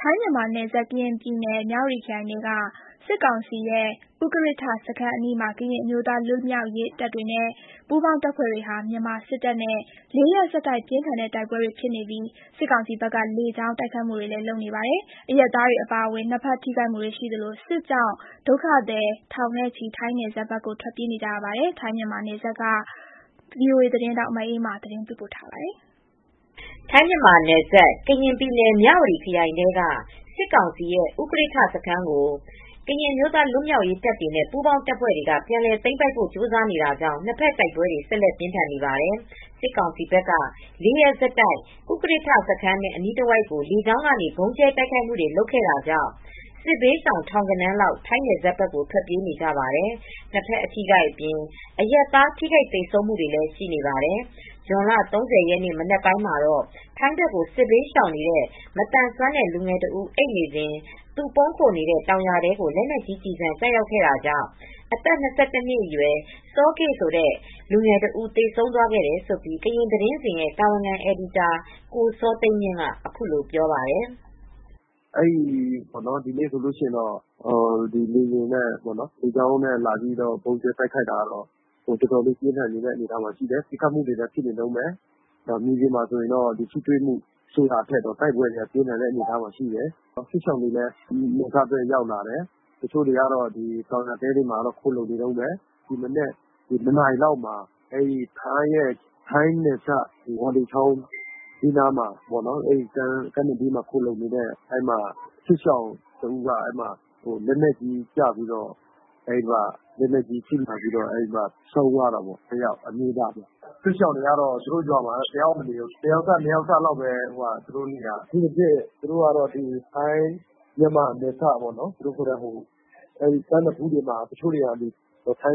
ထိုင်းမြန်မာနယ်စပ် ကရင်ပြည်နယ် မြဝတီခရိုင်ထဲက စစ်ကောင်စီရဲ့ ဥကရစ်ထ စခန်းအနီးမှာ ကရင်အမျိုးသားလွတ်မြောက်ရေးတပ်တွေနဲ့ ပူးပေါင်းတပ်ဖွဲ့တွေဟာ မြန်မာစစ်တပ်နဲ့ လေးရက်ဆက်တိုက် ပြင်းထန်တဲ့တိုက်ပွဲတွေဖြစ်နေပြီး စစ်ကောင်စီဘက်က လေကြောင်းကနေ တိုက်ခိုက်နေပါတယ်။ အရပ်သားတွေအပါအဝင် နှစ်ဘက်ထိခိုက်မှုတွေရှိနေသလို စစ်ကြောင့် ဒေသခံထောင်ဂဏန်း ထိုင်းနယ်စပ်ဘက်ကို ထွက်ပြေးနေကြရပါယ်။ ထိုင်း-မြန်မာနယ်စပ်ကနေ ဗွီအိုအေ သတင်းထောက် မအေးအေးမာ သတင်းပေးပို့ထားပါတယ်။ ထိုင်းမြန်မာနယ်စပ် ကရင်ပြည်နယ် မြဝတီခရိုင်ထဲက စစ်ကောင်စီရဲ့ ဥကရစ်ထ စခန်းကို ကရင်အမျိုးသားလွတ်မြောက်ရေးတပ်တွေနဲ့ပူးပေါင်းတပ်ဖွဲတွေ ပြန်လည်သိမ်းပိုက်ဖို့ကြိုးစားနေတာကြောင့် နှစ်ဘက်တိုက်ပွဲတွေ ဆက်လက်ပြင်းထန်နေပါတယ်။ စစ်ကောင်စီဘက်က ၄ ရက်ဆက်တိုက် ဥကရစ်ထစခန်းနဲ့အနီးတဝိုက် ကို လေကြောင်းကနေ ဗုံးကြဲတိုက်ခိုက်ခဲ့တာကြောင့် စစ်ဘေးရှောင်ထောင်ဂဏန်းလောက် ထိုင်းနယ်စပ်ဘက်ကို ထွက်ပြေးနေကြပါတယ်။ နှစ်ဘက် အထိအခိုက် အပြင် အရပ်သားထိခိုက်သေဆုံးမှုတွေလည်း ရှိနေပါတယ်။ ဇွန်လ ၃၀ ရက်နေ့ မနက်မှာတော့ ထိုင်းဘက်ကို စစ်ဘေးရှောင်နေတဲ့ ၂၁ နှစ်အရွယ် မသန်စွမ်းတဲ့လူငယ်တဦး အိပ်နေစဉ် သူပုန်းခိုနေတဲ့တောင်ယာတဲကို လက်နက်ကြီးကျည်ဆံကျရောက်ခဲ့တာကြောင့် သေဆုံးသွားခဲ့တယ်လို့ ကရင်သတင်းစဉ်ရဲ့တာဝန်ခံအယ်ဒီတာ ကိုစောသိန်းမြင့်က ပြောပါတယ်။ “ ဒီနေ့ဆိုရင်တော့လေယာဉ်နဲ့လေကြောင်းကနေ ဗုံးကြဲတိုက်ခိုက်တာက အတော်လေးပြင်းထန်တယ်။ ပစ်ခတ်နေတုန်းပဲ။ မြေပြင်မှာထိတွေ့မှုဆိုတာထက် တိုက်ပွဲကပြင်းထန်တဲ့အနေအထားမှာရှိတယ်။ စစ်ဘေးရှောင်တွေလည်း နယ်စပ် ဘက်ရောက်လာတယ်။ တချို့ကတော့ တောင်ယာတဲတွေထဲမှာ ခိုလှုံနေကြတုန်းပဲ။ ဒီမနက် ၂ နာရီလောက်မှာတော့ ထိုင်းနယ်စပ် ဝေါလေချောင်း ကမ်းနဘေးမှာ ခိုလှုံနေတဲ့ စစ်ဘေးရှောင်တဦး လက်နက်ကြီးထိမှန်ပြီး ဆုံးသွားတာပေါ့။ အမျိုးသားတဦးပါ။ စစ်ရှောင်တွေက သူတို့ရွာတွေမှာမနေရဲတော့ဘူး။ တယောက်စ နှစ်ယောက်စလောက်ပဲနေကြတော့တယ်။ အထူးသဖြင့် ထိုင်းမြန်မာနယ်စပ် ကမ်းနဖူးတွေမှာ တချို့တွေက ထို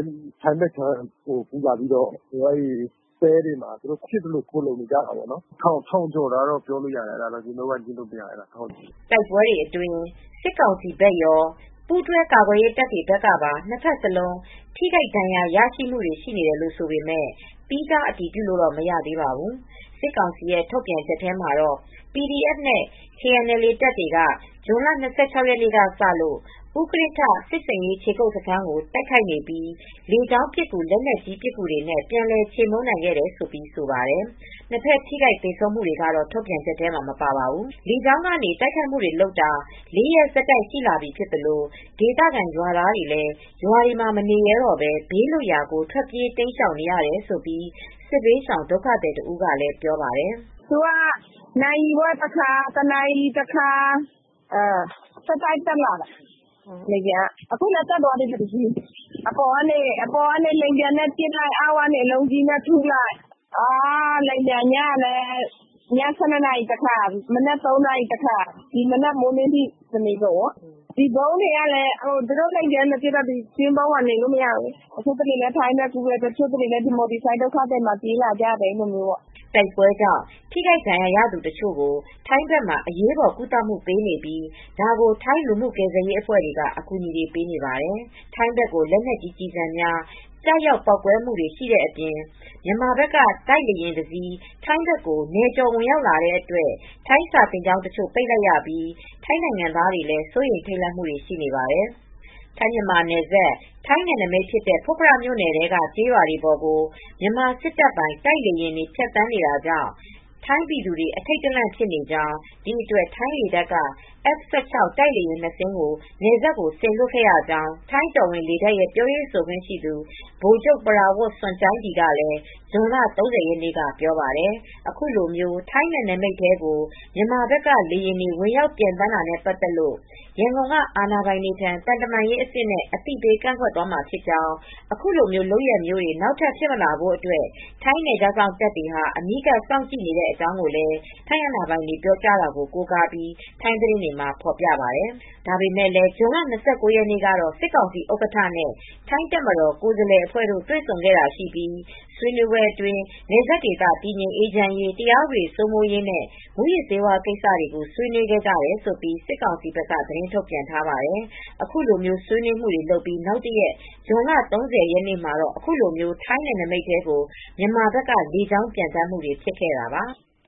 င်းဘက်ခြမ်းကိုကူးလာပြီးတော့ တဲတွေမှာ ဖြစ်သလိုခိုလှုံနေကြတယ်။ လူဦးရေ ၁,၀၀၀ ကျော်တယ်လို့တော့ပြောလို့ရတယ်။ အဲဒါတော့လုံးဝငြင်းလို့မရဘူး။” တိုက်ပွဲအတွင်း စစ်ကောင်စီဘက်ရော၊ ပူးတွဲကာကွယ်ရေတပ်တွေဘက်ကပါ နှစ်ဘက်စလုံး ထိခိုက်ဒဏ်ရာရမှုတွေရှိတယ်လို့ဆိုပေမယ့် သီးခြားအတည်ပြုလို့ မရသေးပါဘူး။ စစ်ကောင်စီထုတ်ပြန်ချက်မှာတော့ PDF နဲ့ KNLA တပ်တွေက ဇွန်လ ၂၆ ရက်နေ့ကစလို့ ဥကရစ်ထစစ်ဆင်ရေးခြေကုပ်စခန်းကို တိုက်ခိုက်နေပြီး လေကြောင်းပစ်ကူ၊ လက်နက်ကြီးပစ်ကူတွေနဲ့ ပြန်လည်ချေမှုန်းနိုင်ခဲ့တယ်လို့ ဆိုပါတယ်။ နှစ်ဘက် ထိခိုက်သေဆုံးမှုတွေကတော့ ထုတ်ပြန်ချက်ထဲ မပါပါဘူး။ လေကြောင်းကနေတိုက်ခိုက်နေတာ ၄ ရက်ဆက်တိုက်ရှိလာပြီဖြစ်သလို ဒေသခံရွာသားတွေလည်း ရွာတွေမှာမနေရဲတော့ဘဲ ဘေးလွတ်ရာကိုထွက်ပြေးနေရတယ်လို့ စစ်ဘေးရှောင်ဒုက္ခသည်တဦးကပြောပါတယ်။ “သူတို့က နာရီဝက်တခါ၊ တနာရီတခါ ဆက်တိုက်တက်လာတယ်။ အခုလည်းတက်သွားတယ်။ အပေါ်က လေယာဉ်နဲ့ပစ်လို့ အောက်ကနေ အလုံးကြီး( လက်နက်ကြီး) နဲ့ ထုလိုက်ပဲ။ လေယာဉ်ပျံက ည ၁၂ လောက်တခါ၊ မနက် ၃ နာရီလောက် တခါ အခု မနက်ပိုင်းမိုင်းလင်းလည်းလာတယ်။ တနေကုန်ပါပဲ၊ ဒီဗုံးခိုကျင်းတွေကလည်း သူတို့လေယာဉ်နဲ့ပစ်နေတော့ နေလို့မရပါဘူး။ တချို့လည်း ထိုင်းဘက်ကူးတယ်။ တချို့တွေလည်း မြန်မာပြည်ဘက် ဆိုဒ်က ဒုက္ခသည်တွေထားတဲ့နေရာဘက် ပြေးလာကြတယ်။” တိုက်ပွဲကြောင့် ထိခိုက်ဒဏ်ရာရသူတချို့ကို ထိုင်းဘက်မှာ အရေးပေါ်ကုသမှုပေးနေပြီး ဒါကို ထိုင်းလူမှုကယ်ဆယ်ရေးအဖွဲ့တွေက အကူအညီတွေပေးနေပါတယ်။ ထိုင်းဘက်ကို လက်နက်ကြီးကျည်ဆံများကျရောက်ပေါက်ကွဲမှုတွေရှိတာအပြင် မြန်မာဘက်က တိုက်လေယာဉ်တစီး ထိုင်းဘက်ကို နယ်ကျော်ဝင်ရောက်လာတဲ့အတွက် ထိုင်းစာသင်ကျောင်းတချို့ပိတ်လိုက်ရပြီး ထိုင်းနိုင်ငံသားတွေလည်း စိုးရိမ် ထိတ်လန့်နေပါတယ်။ ထိုင်း မြန်မာနယ်စပ် ထိုင်းနယ်နမိတ်ဖြစ်တဲ့ဖွတ်ဖရ မြိုနယ်ထဲက ကျေးရွာပေါ်ကို မြန်မာစစ်တပ်ပိုင် တိုက်လေယာဉ်တွေဖြတ်သန်းတာကြောင့် ထိုင်းပြည်သူတွေ အထိတ်တလန့်ဖြစ်နေကြောင်း၊ ဒီအတွက် ထိုင်းလေတပ်က F16 တိုက်လေယာဉ် နှစ်စင်းကို နယ်စပ်ကိုစေလွှတ်ခဲ့ရကြောင်း၊ ထိုင်းတော်ဝင်လေတပ်ရဲ့ပြောရေးဆိုခွင့်ရှိသူ ဗိုလ်ချုပ် ပရာဝတ်စွန်ကျိုင်ဒီက ဇွန်လ ၃၀ ရက်နေ့က ပြောပါတယ်။ အခုလို ထိုင်းနယ်နမိတ်ထဲကို မြန်မာဘက်က လေယာဉ်တွေ ဝင်ရောက်ပျံသန်းတာနဲ့ပတ်သက်လို့ ရန်ကုန်က အာဏာပိုင်တွေထံ သံတမန်ရေးအဆင့်နဲ့ အသိပေးကန့်ကွက်သွားမှာဖြစ်ကြောင်း၊ အခုလိုလုပ်ရပ်မျိုးတွေ နောက်ထပ်ဖြစ်မလာဖို့အတွက် ထိုင်းနယ်ခြားစောင့်တပ်တွေဟာ အနီးကပ်စောင့်ကြည့်နေတဲ့အကြောင်းလည်း ထိုင်းအာဏာပိုင်တွေ ပြောဆိုတာ ကိုးကားပြီး ထိုင်းသတင်းတွေက ဖော်ပြပါတယ်။ ဒါပေမယ့်လည်း ဇွန်လ ၂၉ ရက်နေ့ကတော့ စစ်ကောင်စီဥက္ကဋ္ဌနဲ့ ထိုင်းတပ်မတော်ကိုယ်စားလှယ်အဖွဲ့တို့ တွေဆုံခဲ့တာရှိပြီး ဆွေးနွေးပွဲအတွင်း နယ်စပ်ဒေသ တည်ငြိမ် အေးချမ်းရေး၊ တရားဥပဒေစိုးမိုးရေးနဲ့ မူးယစ်ဆေးဝါးကိစ္စတွေကိုဆွေးနွေးခဲ့ကြတယ်လို့ စစ်ကောင်စီဘက်က သတင်းထုတ်ပြန်ထားပါတယ်။ အခုလို ဆွေနွေးမှုတွေလုပ်ပြီးနောက်တရက် ဇွန်လ ၃၀ ရက်နေ့မှာ အခုလို ထိုင်းနယ်နမိတ်ထဲကို မြန်မာဘက်ကလေကြောင်းပျံသန်းမူတွေဖြစ်ခဲ့တာပါ။